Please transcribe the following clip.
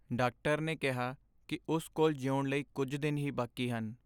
Doctor ਨੇ ਕਿਹਾ ਕਿ ਉਸ ਕੋਲ ਜਿਉਣ ਲਈ ਕੁੱਝ ਦਿਨ ਹੀ ਬਾਕੀ ਹਨ।